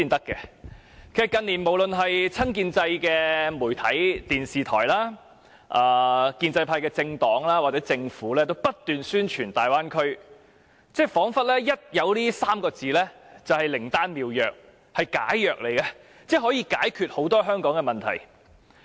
近年來，無論是親建制的媒體、電視台、建制派政黨還是政府皆不斷宣傳大灣區，彷彿這3個字便是靈丹妙藥或解藥，可以解決很多香港的問題。